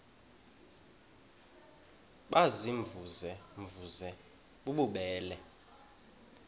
baziimvuze mvuze bububele